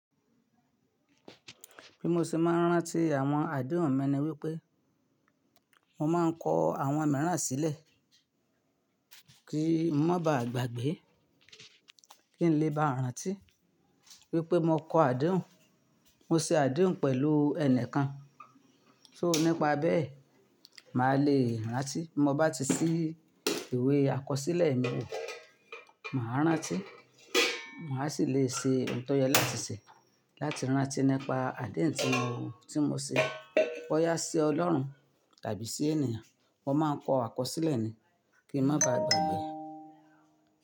Bí mo ṣe máa ń rántí àwọn àdéhùn mi ni wípé, mo máa ń kọ àwọn mìíràn sílẹ̀, kí n má baà gbàgbé, kí n lè bá rántí wípé mo kọ àdéhùn, mo ṣe àdéhùn pẹ̀lú ẹni kan. So nípa bẹ́ẹ̀, màá le rántí. Mo bá ti ṣí ìwé àkọsílẹ̀ mi wò, màá rántí, màá ṣì le è ṣe ohun tó yẹ láti ṣe láti rántí nípa àdéhùn tí mo, tí mo ṣe. Bóyá sí Ọlọ́run tàbí sí ènìyàn, mo máa ń kọ àkọsílẹ̀ ni, kí n má baà gbàgbé.